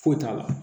Foyi t'a la